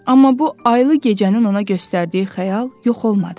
Amma bu aylı gecədə canına göstərdiyi xəyal yox olmadı.